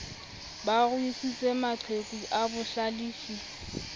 ba ruisitse maqheka a bohlalefi